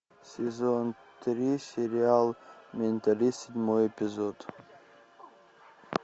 сезон три сериал менталист седьмой эпизод